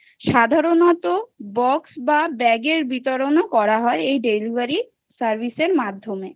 সাধারণত box বা bag এর বিতরণ করা হয় এই Delivery service মাধ্যমে